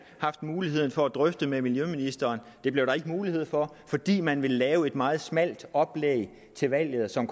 haft mulighed for at drøfte med miljøministeren det blev der ikke mulighed for fordi man ville lave et meget smalt oplæg til valget som